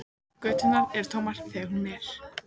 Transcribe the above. Göturnar eru tómar þegar hún er.